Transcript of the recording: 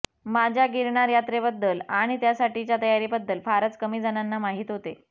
माझ्या गिरनार यात्रेबद्दल आणि त्यासाठीच्या तयारीबद्दल फारच कमी जणांना माहीत होते